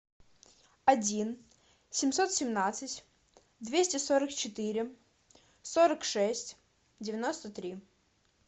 один семьсот семнадцать двести сорок четыре сорок шесть девяносто три